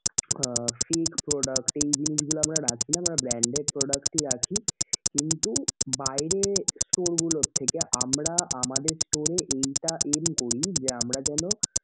আহ fake product এই জিনিসগুলা আমরা রাখিনা, আমরা branded product গুলা রাখি কিন্তু বাইরের store গুলো থেকে আমরা আমাদের store এ এইটা aim করি যে আমরা যেনো